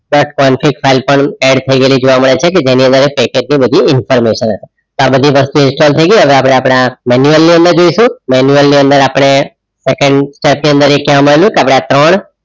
add થઈ ગયેલી જોવા મળે છે જેની અંદર પેકેજ ની બધી information હશે આ બધી વસ્તુ ઇન્સ્ટોલ થઈ ગઈ હવે આપણે આપણા જઈશું અંદર આપણે second step કે આપણે આ ત્રણ